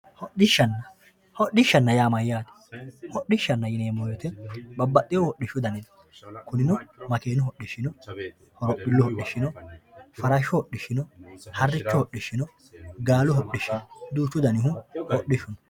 Hodhishanna hodhishanna yaa mayyaate hodhishanna yineemo woyite babaxeehu hodhishu danino kuninno makiinu hodhishi no holophilu hodhishi no farashu hodhishi no harichu hodhishi no gaalu hodhishi no duuchu dannihu hodhishu no